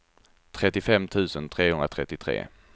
trettiofem tusen trehundratrettiotre